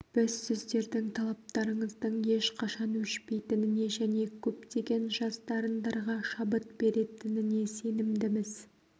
біз сіздердің талаптарыңыздың ешқашан өшпейтініне және көптеген жас дарындарға шабыт беретініне сенімдіміз